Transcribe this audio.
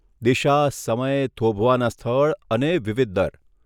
દિશા, સમય, થોભવાના સ્થળ અને વિવિધ દર.